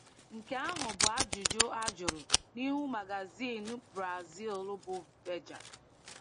Nke ahụ bụ ajụjụ a jụrụ n’ihu magazin Brazil bụ Veja.